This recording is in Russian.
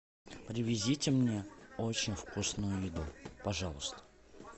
привезите мне очень вкусную еду пожалуйста